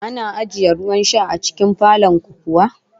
Ana ajiye ruwan sha a cikin falon ku kuwa?